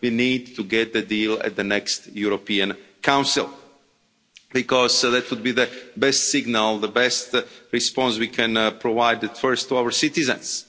We need to get a deal at the next European Council because that would be the best signal, the best response we can provide, first to our citizens.